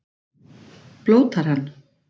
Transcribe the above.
Blótar hann?